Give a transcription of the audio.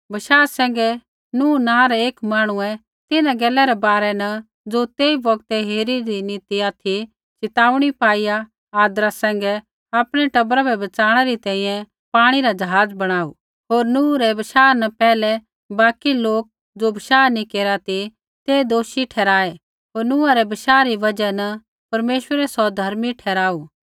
बशाह सैंघै नूह नाँ रै एक मांहणुऐ तिन्हां गैला रै बारै न ज़ो तेई बौगतै हेरिदी नी ती ऑथि च़िताऊणी पाईआ आदरा सैंघै आपणै टबरा बै बच़ाणै री तैंईंयैं पाणी रा ज़हाज़ बणाऊ होर नूह रै बशाह न पैहलै बाकी लोक ज़ो बशाह नैंई केरा ती ते दोषी ठहराऐ होर नूहा रै बशाह री बजहा न परमेश्वरै सौ धर्मी ठहराऊ